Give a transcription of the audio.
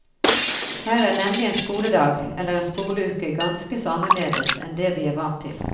Her er nemlig en skoledag, eller en skoleuke, ganske så annerledes enn det vi er vant til.